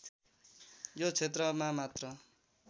यो क्षेत्रमा मात्र